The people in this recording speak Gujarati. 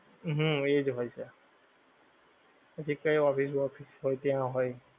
હુંમ એજ હોય છે. પછી કઈ office વોફિસ હોય ત્યાં હોય.